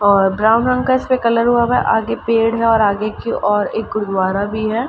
और ब्राउन रंग का इसपे कलर हुआ गा इसके आगे पेड़ है और आगे एक ओर एक गुरुद्वारा भी है।